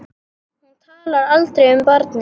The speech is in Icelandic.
Hún talar aldrei um barnið.